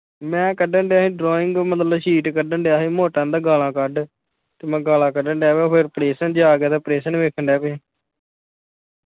ਮੈਂ ਕੱਡਣ ਦਿਆ ਸੀ drawing ਮਤਲਬ sheet ਕੱਡਣ ਦਿਆ ਸੀ ਮੋਟਾ ਕਹਿੰਦਾ ਗਾਲਾ ਕੱਢ ਤੇ ਮੈਂ ਗਾਲਾ ਕੱਢਣ ਡਹਿ ਪਿਆ ਫਿਰਾ operation ਜਿਹਿਆ ਆਗਿਆ ਤੇ operation ਵੇਖਣ ਡਹਿ ਪਿਆ ਸੀ।